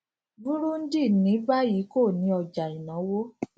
burundi ní báyìí kò ní ọjà ìnáwó